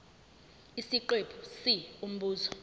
isiqephu c umbuzo